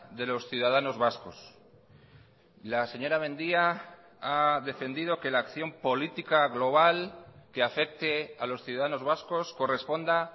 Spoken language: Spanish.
de los ciudadanos vascos la señora mendia ha defendido que la acción política global que afecte a los ciudadanos vascos corresponda